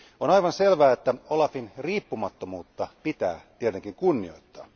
On aivan selvää, että OLAFin riippumattomuutta pitää tietenkin kunnioittaa.